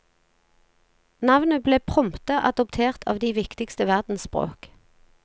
Navnet ble prompte adoptert av de viktigste verdensspråk.